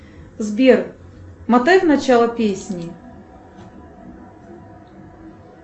сбер матай в начало песни